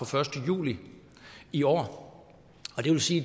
første juli i år og det vil sige